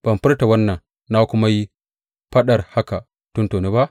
Ban furta wannan na kuma yi faɗar haka tuntuni ba?